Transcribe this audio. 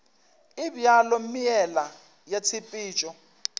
e bjalo meela ya tshepetšo